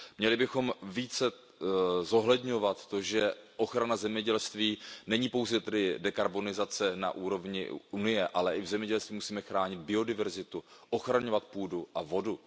Měli bychom více zohledňovat to, že ochrana zemědělství není pouze dekarbonizace na úrovni Evropské unie, ale i v zemědělství, že musíme chránit biodiverzitu, ochraňovat půdu a vodu.